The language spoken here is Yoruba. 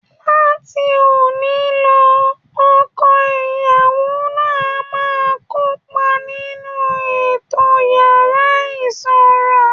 Láti òní lọ, ọkọ ìyàwó náà á máa kópa nínú ètò yàrá ìsanra